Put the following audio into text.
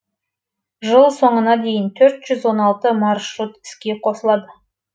жыл соңына дейін төрт жүз он алты маршрут іске қосылады